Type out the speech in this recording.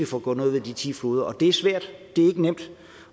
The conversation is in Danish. få gjort noget ved de ti floder er svært det er ikke nemt